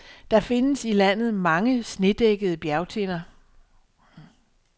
Der findes i landet mange, snedækkede bjergtinder.